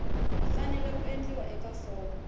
fanele ku endliwa eka fomo